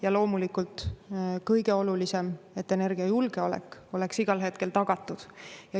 Ja loomulikult kõige olulisem, et energiajulgeolek oleks igal hetkel tagatud.